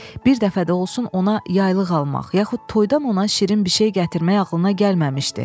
Bir dəfə də olsun ona yaylıq almaq yaxud toyda ona şirin bir şey gətirmək ağılına gəlməmişdi.